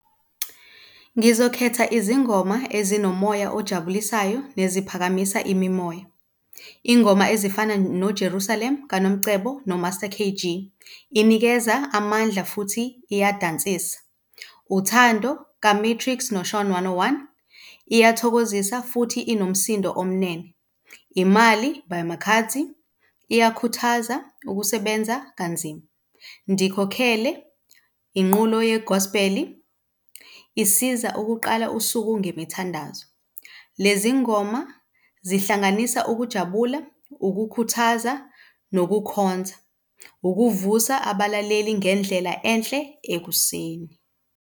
Ngizokhetha izingoma ezinomoya ojabulisayo neziphakamisa imimoya, iy'ngoma ezifana noJerusalem kaNomcebo noMaster K_G inikeza amandla futhi iyadansisa, uthando kaMetrics noShawn one oh one iyathokozisa futhi inomsindo omnene, imali by Makhadzi iyakhuthaza ukusebenza kanzima, Ndikhokele inqulo ye-Gospel isiza ukuqala usuku ngemithandazo. Lezi ngoma zihlanganisa ukujabula, ukukhuthaza nokukhonza, ukuvusa abalaleli ngendlela enhle ekuseni.